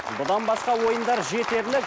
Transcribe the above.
бұдан басқа ойындар жетерлік